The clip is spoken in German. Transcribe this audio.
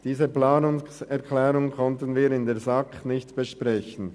» Diese Planungserklärung konnten wir in der SAK nicht besprechen.